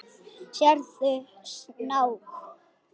Sérðu snák?